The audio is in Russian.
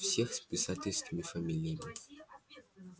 всех с писательскими фамилиями